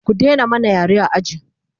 ku Daina mana yare a aji!